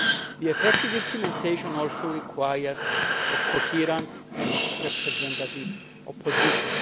The effective implementation also requires a coherent and representative opposition.